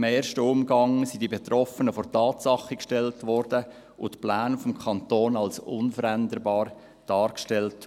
In einem ersten Umgang wurden die Betroffenen vor vollendete Tatsachen gestellt, und die Pläne des Kantons wurden als unveränderbar dargestellt.